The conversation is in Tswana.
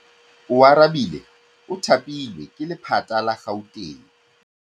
Oarabile o thapilwe ke lephata la Gauteng.